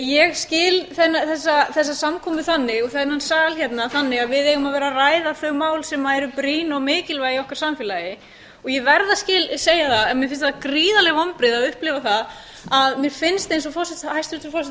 ég skil þessa samkomu þannig og þennan sal hérna þannig að við eigum að vera að ræða þau mál sem eru brýn og mikilvæg í okkar samfélagi og ég verð að segja það að mér finnst það gríðarleg vonbrigði að upplifa það að mér finnst eins og hæstvirtur forsætisráðherra